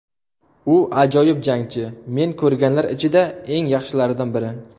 U ajoyib jangchi, men ko‘rganlar ichida eng yaxshilardan biri.